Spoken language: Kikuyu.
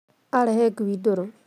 Aarehe ngui ndũrũ